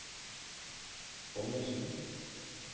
Ommundsen